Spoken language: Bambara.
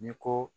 Ni ko